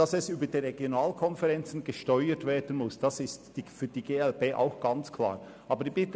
Auch für die glp ist klar, dass das Angebot über die RVK gesteuert werden muss.